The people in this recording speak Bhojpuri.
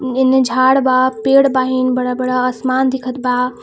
हेने झाड़ बा पेड़ बाहिन बड़ा-बड़ा आसमान दिखत बा.